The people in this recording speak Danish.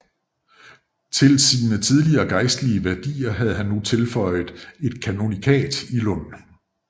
Til sine tidligere gejstlige værdigheder havde han nu føjet et kanonikat i Lund